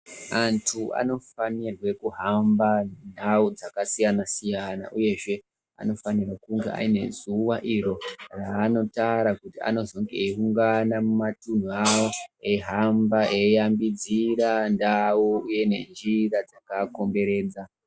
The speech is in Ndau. Antu anofanire kuhamba mundau dzakasiyana-siyana, uyezve anofanirwa kunge aine zuwa iro raanotara kuti anozenge eiungana mumatunhu avo, eihamba eiambidzira ndau uye nenjira dzakaa komberedza.